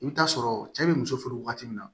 I bɛ taa sɔrɔ cɛ be muso furu waati min na